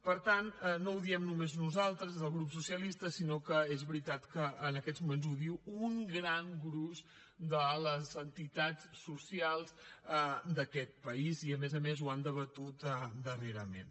per tant no ho diem només nosaltres des del grup socialista sinó que és veritat que en aquests moments ho diu un gran gruix de les entitats socials d’aquest país i a més a més ho han debatut darrerament